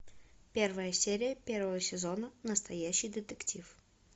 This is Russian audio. первая серия первого сезона настоящий детектив